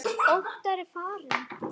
Óttar er farinn.